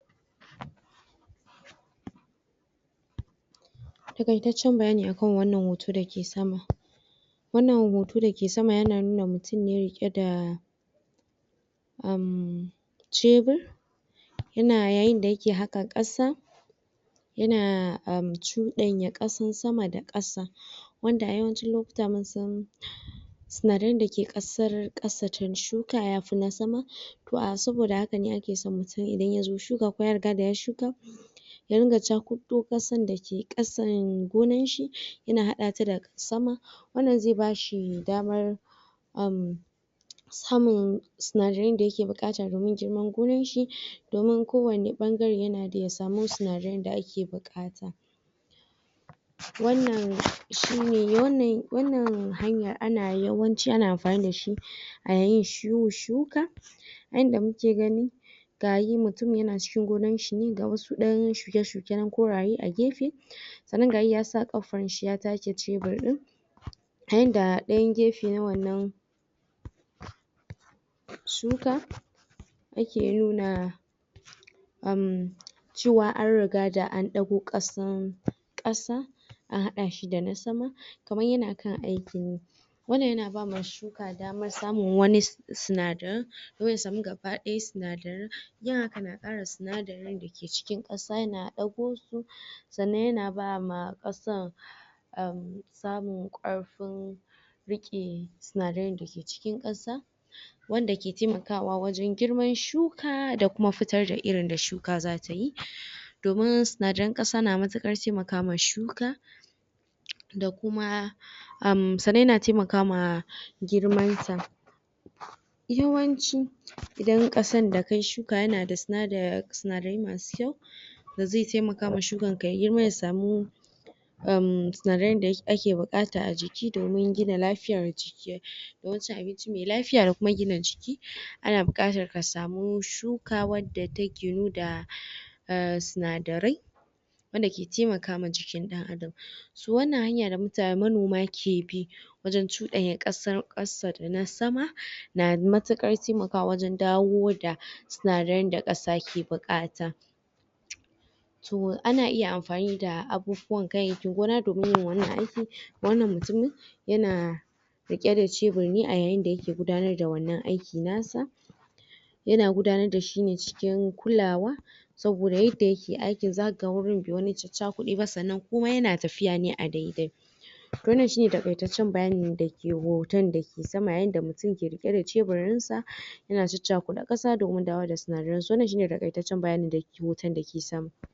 takaitacen bayani akan wannan hoton da ke sama wannan hoton da ke sama yana nuna mutum ne rike da um cebir yana yayin da ya ke haka kasa yana um cudan ya kasan sama da kasa wanda a yawancin lokutan mun san sinadarin da ke kasar kasa can shuka ya fi na sama toh a soboda haka ne ake so mutum idan ya zo shuka ko ya riga ya yi shuka ya ringa cakudon kasan da ke kasan gonan shi ya na hada ta da sama wannan zai ba shi damar um samun sinadirin da ya ke bukata domin girman gonan shi domin ko wane bangare ya na da ya samu sinadirin da a ke bukata wannan shi ne wannan wannan hanya ana yawanci ana amfani da shi a yayin yin shuka yan da mu ke gani ga yin mutum yana cikin gonan shi ne ga wasu dan shuke shuke nan koraye a gefe sannan ga yi ya sa kafar shi ya take cebir din yayin da ayan gefe na wannan shuka yake nuna um cewa an riga da an dago kasan kasa an hada shi da na sama kaman ya na kan aiki ne wannan ya na ba ma shuka damar samun wani sinadiri dan ya samu gabadaya sinadirin yin haka na kara sinadirin da ke cikin kasan ya na dago su sannan ya na ba ma kasan um samun karfin rike sinadirin da ke cikin kasa wanda ke taimakawa wajen girman shuka da kuma futar da irin da shuka za ta yi domin sinadirin kasa na matukar taimakawa ma shuka da kuma um sannan yana taimakama girman sa yawanci idan kasan da ka shuka yana da sinadirin masu kyau da zai taimaka ma shukan ka ya yi girma ya samu um sinadirin da ya ke a ke bukata a jiki domin gina lafiyar jiki? cin abinci mai lafiya da kuma gina jiki a na bukata ka samu shuka wadda ta ginu da um sinadirai wanda ke taimaka ma jikin Adam su wannan hanya da manoma ke bi wajen cuda ya kasa da na sama namatukar taimakawa wajen dawo da sinadirin da kasa ke bukata toh ana iya amfani da abubuwan ganyeki gona domin irin wannan aikin wannan mutumi ya na rike da cebir ne a yayin da yake gudannar da wannan aikin na sa ya na gudannar da shi ne cikin kulawa soboda yadda yake aiki za ka ga wurin bai wani cacakude ba sannan kuma ya na tafiya a daidai wannan shi ne takaitacen bayani da ke hoton da ke sama yayin da mutumke rike da ceburin sa ya na cacukadan kasa domin dawowa da sinadirin wannan shi ne takaitacen bayani da ke hoton da kesama